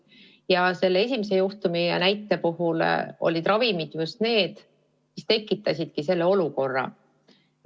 Ja selle esimese juhtumi puhul olidki ravimid just need, mis selle olukorra tekitasid.